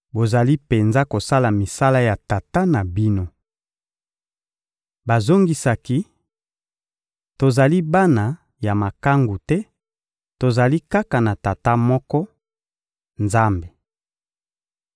Bozali penza kosala misala ya tata na bino. Bazongisaki: — Tozali bana ya makangu te; tozali kaka na tata moko: Nzambe!